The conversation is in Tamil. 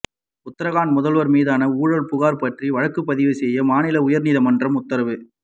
உத்தராகண்ட் முதல்வர் மீதான ஊழல் புகார் பற்றி வழக்குப்பதிவு செய்ய மாநில உயர்நீதிமன்றம் உத்தரவு